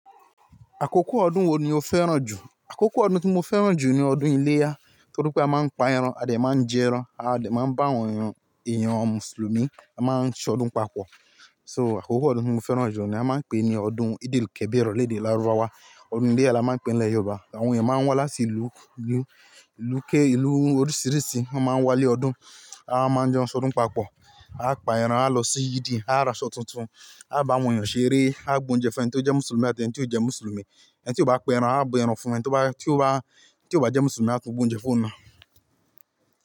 Àkókò ọdún wo ni o fẹ́ràn jù? Àkókò ọdún tí mo fẹ́ràn jù ni ọdún iléyá torí pé a máa ń pa ẹran, a dẹ máa ń jẹ ẹran, a dẹ máa ń bá àwọn èèyàn, èèyàn Mùsùlùmí a máa ń ṣe ọdún papọ̀. So àkókò ọdún mo fẹ́ràn jù ni a máa ń pè ní ọdún eid el kabir lédè lárúbáwá. Ọdún iléyá la máa ń pè ní ilẹ̀ Yorùbá, àwọn èèyàn máa ń wá láti ìlú, ìlú, ìlú ké, ìlú oríṣìíríṣìí wọn máa ń wá lé ọdún, a máa ń jẹun, ṣe ọdún papọ̀, á pa ẹran, á lọ sí ìdí, á ra aṣọ tuntun, á bá àwọn èèyàn ṣeré, á gbé oúnjẹ fún ẹni tó jẹ́ Mùsùlùmí àti ẹni tí kò jẹ́ Mùsùlùmí. Ẹni tí ó bá pa ẹran á bu ẹran fún ẹni tí ó bá, tí ó bá, tí ó bá jẹ́ Mùsùlùmí á tún bu oúnjẹ fún un.